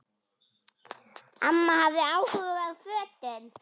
Amma hafði áhuga á fötum.